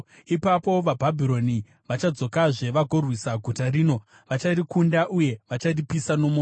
Ipapo vaBhabhironi vachadzokazve vagorwisa guta rino; vacharikunda uye vacharipisa nomoto.’